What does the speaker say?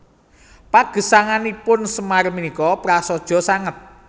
Pagesanganipun Semar punika prasaja sanget